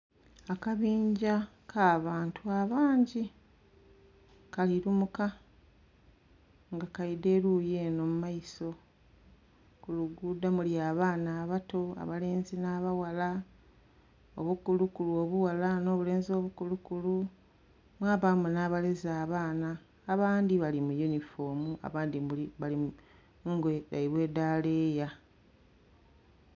Akabinja ka bantu abangi kali lumuka nga kaidha eruyi enho mu maiso, ku luguudo muli abaana abato abalenzi nh'abaghala, obukulukulu obughala nh'obulenzi obukulukulu, mwabaamu nh'abaleze abaana abandhi bali mu yunifoomu abandhi bali mu ngoye dhaibwe edha leeya.